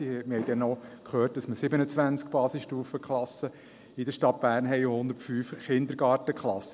Wir haben dann auch gehört, dass man 27 Basisstufenklassen in der Stadt Bern habe sowie 105 Kindergartenklassen.